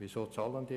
Weshalb dies?